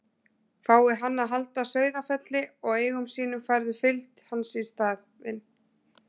Fái hann að halda Sauðafelli og eigum sínum færðu fylgd hans í staðinn.